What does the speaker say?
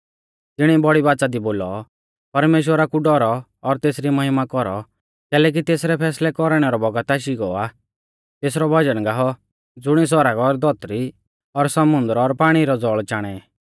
तिणिऐ बौड़ी बाच़ा दी बोलौ परमेश्‍वरा कु डौरौ और तेसरी महिमा कौरौ कैलैकि तेसरै फैसलै कौरणै रौ बौगत आशी गौ आ तेसरौ भजन गाऔ ज़ुणिऐ सौरग और धौतरी और समुन्दर और पाणी रै ज़ौल़ चाणै